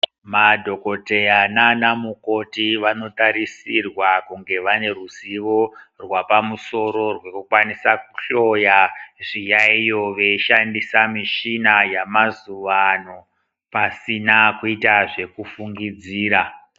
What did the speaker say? Madhokoteya naanamukoti vanotarisirwa kunge vane ruzivo rwapamusoro runokwanisa kuhloya zviyayiyo veishandisa michina yamazuvano pasina kuita zvekufungidzira.